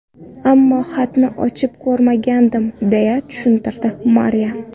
Ammo xatni ochib ko‘rmagandim”, – deya tushuntirdi Mariya.